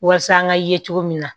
Walasa an ka ye cogo min na